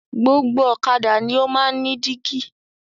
Gbogbo ọ̀kadà ni o máa ń ní dígí.